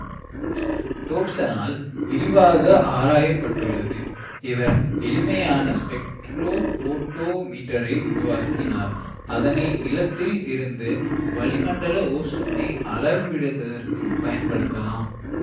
டோப்சனால் விரிவாக ஆராயப்பட்டுள்ளது இவர் எளிமையான ஸ்பெக்ட்ரோ போட்டோ மீட்டரை உருவாக்கினார் அதனை நிலத்தில் இருந்து வளிமண்டல ஓசோனை அளவிடுவதற்குப் பயன்படுத்தலாம்